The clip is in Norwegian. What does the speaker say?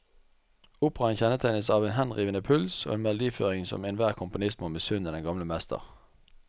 Operaen kjennetegnes av en henrivende puls og en melodiføring som enhver komponist må misunne den gamle mester.